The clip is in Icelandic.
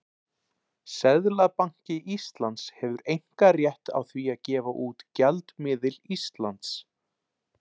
Seðlabanki Íslands hefur einkarétt á því að gefa út gjaldmiðil Íslands.